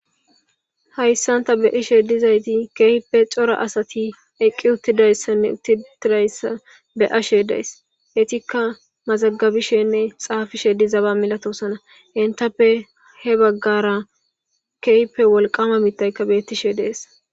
Hayssanta be ishe dizayti keehippe cora asati eqqi uttidayssanne uttitidayssa be'ashe days etikka mazagabishenne xaafishe dizaba milatosana entappe he baggara keehppe wolqama mitaykka bettishe dees.